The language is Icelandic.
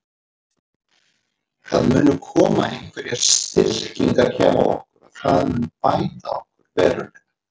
Það munu koma einhverjar styrkingar hjá okkur og það mun bæta okkur verulega.